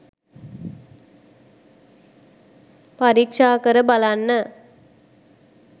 පරීක්‍ෂාකර බලන්න.